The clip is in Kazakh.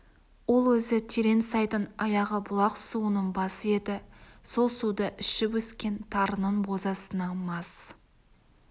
ол өзі терең сайдың аяғы бұлақ суының басы еді сол суды ішіп өскен тарының бозасына мас